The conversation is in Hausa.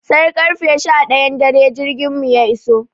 Sai karfe sha ɗayan dare jirgin mu ya iso.